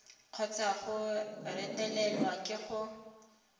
kgotsa go retelelwa ke go